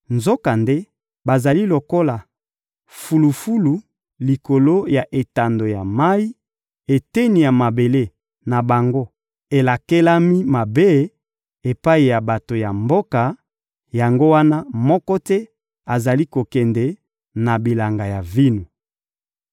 Nzokande bazali lokola fulufulu likolo ya etando ya mayi, eteni ya mabele na bango elakelami mabe epai ya bato ya mboka, yango wana moko te azali kokende na bilanga ya vino.